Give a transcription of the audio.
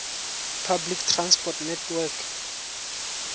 public transport network